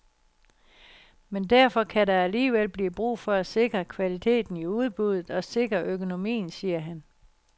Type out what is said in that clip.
Men derfor kan der alligevel blive brug for at sikre kvaliteten i udbuddet og sikre økonomien, siger han.